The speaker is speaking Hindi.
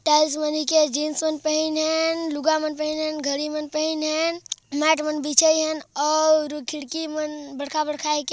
टाईल्स बनी के जिन्स विन्स पहिन हेन लुगामन पहिन हेन घड़ी मन पहिन हेन मैट मन बिछाई हेन औउर खिड़की मन बड़खा-बड़खा के --